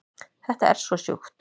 Þetta er svo sjúkt